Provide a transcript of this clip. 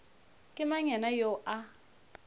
ke mang yena yoo a